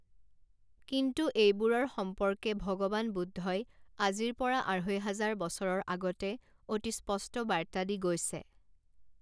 কিন্তু এইবোৰৰ সম্পৰ্কে ভগৱান বুদ্ধই আজিৰ পৰা আঢ়ৈ হাজাৰ বছৰৰ আগতে অতি স্পষ্ট বাৰ্তা দি গৈছে।